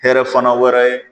Hɛrɛ fana wɛrɛ ye